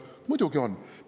Muidugi on!